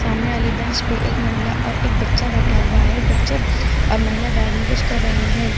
सामने वाली बेंच पे एक महिला और एक बच्चा बैठा हुआ है बच्चे और महिला बैग में कुछ कर रहे हैं।